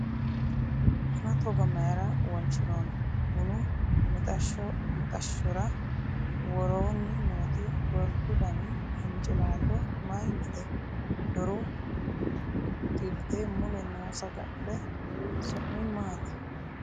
Buna togo mayra wonshinooni ? Bunu mixashshshora woroonni nooti gordu dani hincilaallo mayiinnite ? Doru xilti mule noo saga'le su'mi maati